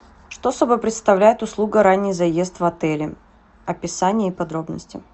что собой представляет услуга ранний заезд в отеле описание и подробности